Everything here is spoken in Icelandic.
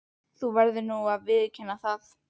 Þú verður nú að viðurkenna það.